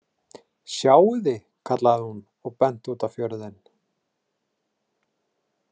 Sjáiði, kallaði hún og benti út á fjörðinn.